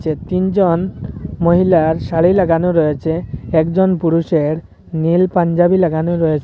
এ তিনজন মহিলার শাড়ি লাগানো রয়েছে একজন পুরুষের নীল পাঞ্জাবি লাগানো রয়েছে।